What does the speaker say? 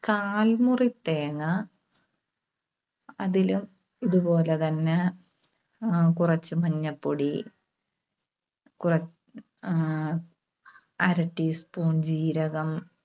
കാൽമുറി തേങ്ങ. അതിലും ഇതുപോലെതന്നെ ആഹ് കുറച്ച് മഞ്ഞപ്പൊടി, കുറ ആഹ് അര teaspoon ജീരകം,